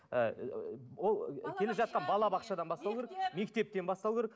ы ол келе жатқан балабақшадан бастау керек мектептен бастау керек